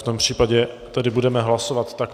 V tom případě tedy budeme hlasovat takto.